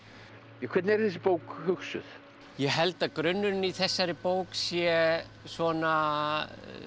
hvernig er þessi bók hugsuð ég held að grunnurinn í þessari bók sé svona